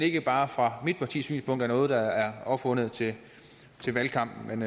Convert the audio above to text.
ikke bare fra mit partis synspunkt noget der er opfundet til valgkampen